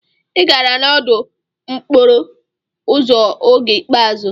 Ị gbara n'udo n'okporo ụzọ oge ikpeazụ.